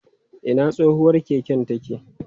Ina tsohuwar keken take?